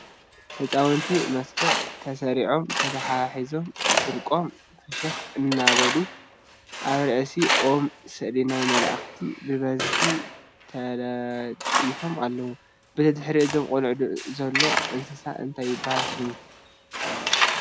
ህፃውንቲ መስርዕ ተሰሪዖም ተተሓሒዞም ፍርቆም ፍሽክ እናበሉ ኣብርእሲ ኦም ስእሊ ናይ መላእክታት ብበዝሒ ተለጢፎም ኣለዉ። በቲ ድሕሪ እቶም ቆልዑ ዘሎ እንስሳ እንታይ ይበሃል ሽሙ ?